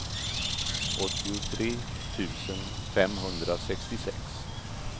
åttiotre tusen femhundrasextiosex